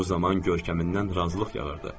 Bu zaman görkəmindən razılıq yağırdı.